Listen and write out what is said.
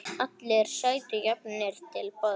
Allir sætu jafnir til borðs.